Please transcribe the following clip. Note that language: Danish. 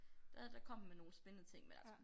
Der der kom den med nogle spændende ting men altså